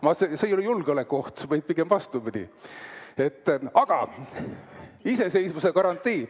No see ei ole julgeolekuoht, vaid pigem vastupidi, iseseisvuse garantii.